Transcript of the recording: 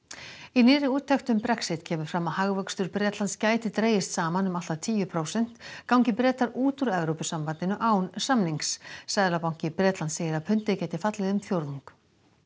í nýrri úttekt um Brexit kemur fram að hagvöxtur Bretlands gæti dregist saman um allt að tíu prósent gangi Bretar út úr Evrópusambandinu án samnings seðlabanki Bretlands segir að pundið gæti fallið um fjórðung